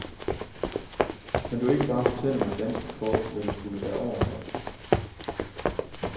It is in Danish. Kan du ikke bare fortælle mig, ganske kort, hvad du skulle derover for.